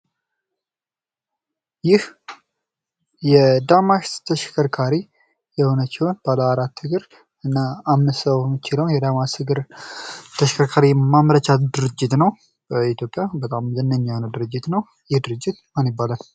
ይህ የዳማስ ተሽከርካሪ የሆነችውን ባለአራት እግር እና አምስት ሰው የምትችለውን የዳማስ እግር ተሽከርካሪ ማምረቻ ድርጅት ነው። በኢትዮጵያ በጣም ዝነኛ የሆነ ድርጅት ነው። በይህ ድርጅት ማን ይባላል ?